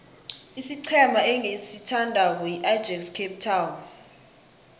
isiqhema engisithandako yiajax cape town